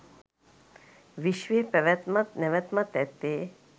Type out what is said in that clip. විශ්වයේ පැවැත්මත් නැවැත්මත් ඇත්තේ